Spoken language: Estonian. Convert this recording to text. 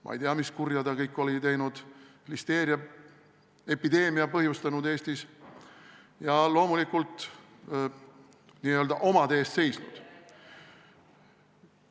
Ma ei tea, mis kurja ta kõik oli teinud, listeeriaepideemia põhjustanud Eestis ja loomulikult n-ö omade eest seisnud.